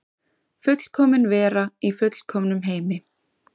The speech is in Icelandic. Fullkomin vera í fullkomnum heimi.